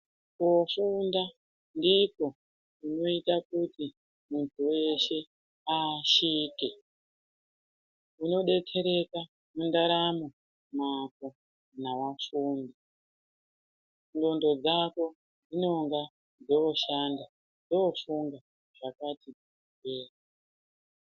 Koofunda ndiko kunoita kuti muntu weshe aashirike. Unodetsereka mundaramo mwako kana wafunda. Ndxondo dzako dzinonga dzoshanda dzoofunga zvakati dzamei.